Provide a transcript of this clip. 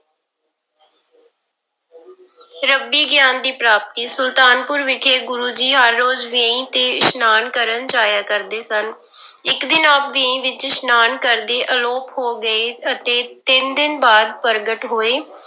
ਰੱਬੀ ਗਿਆਨ ਦੀ ਪ੍ਰਾਪਤੀ, ਸੁਲਤਾਨਪੁਰ ਵਿਖੇ ਗੁਰੂ ਜੀ ਹਰ ਰੋਜ਼ ਵੇਈ ਤੇ ਇਸ਼ਨਾਨ ਕਰਨ ਜਾਇਆ ਕਰਦੇ ਸਨ ਇੱਕ ਦਿਨ ਆਪ ਵੇਈ ਵਿੱਚ ਇਸ਼ਨਾਨ ਕਰਦੇ ਆਲੋਪ ਹੋ ਗਏ ਅਤੇ ਤਿੰਨ ਦਿਨ ਬਾਅਦ ਪ੍ਰਗਟ ਹੋਏ।